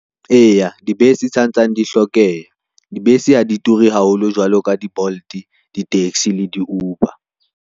Eya, dibese sa ntsane di hlokeha, dibese ha di ture haholo jwalo ka di-Bolt, di-taxi le di-Uber.